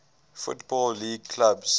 football league clubs